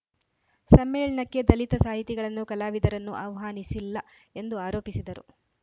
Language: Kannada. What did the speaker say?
ಸಮ್ಮೇಳನಕ್ಕೆ ದಲಿತ ಸಾಹಿತಿಗಳನ್ನು ಕಲಾವಿದರನ್ನು ಆಹ್ವಾನಿಸಿಲ್ಲ ಎಂದು ಆರೋಪಿಸಿದರು